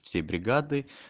все бригады